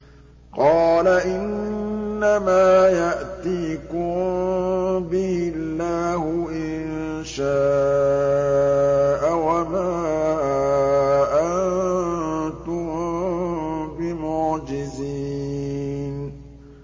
قَالَ إِنَّمَا يَأْتِيكُم بِهِ اللَّهُ إِن شَاءَ وَمَا أَنتُم بِمُعْجِزِينَ